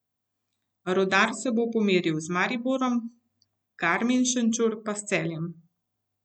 Rudar se bo pomeril z Mariborom, Garmin Šenčur pa s Celjem.